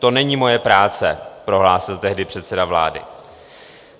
To není moje práce, prohlásil tehdy předseda vlády.